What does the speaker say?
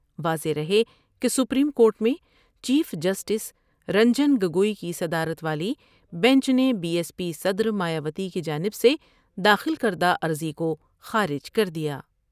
واضح رہے کہ سپریم کورٹ میں چیف جسٹس رنجن گگوئی کی صدرات والی بینچ نے بی ایس پی صدر مایاوتی کی جانب سے داخل کردہ عرضی کو خارج کر دیا ۔